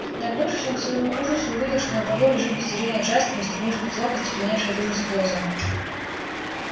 нагнувшись он к своему ужасу увидел что на полу лежит без движения джастин устремив в потолок остекленевшие от ужаса глаза